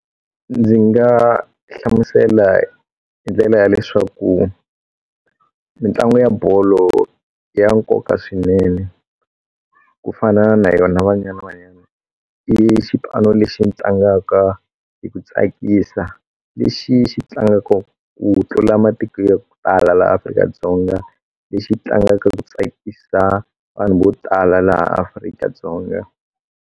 Ndzi nga hlamusela hi ndlela ya leswaku mitlangu ya bolo ya nkoka swinene ku fana na yona Banyana Banyana i xipano lexi tlangaka hi ku tsakisa lexi xi tlangaka ku tlula matiko yo tala laha Afrika-Dzonga lexi tlangaka ku tsakisa vanhu vo tala laha Afrika-Dzonga.